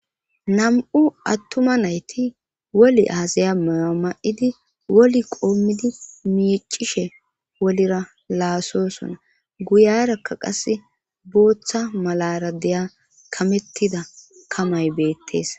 nam7u attuma nayti woli aasaya maya ma7idi woli qoommidi miicishe wolira laasosona guyarakka qase booththa malara deya kamettida kamay beettees